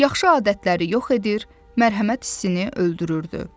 Yaxşı adətləri yox edir, mərhəmət hissini öldürürdü.